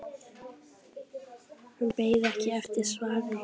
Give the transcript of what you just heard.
Hún beið ekki eftir svari.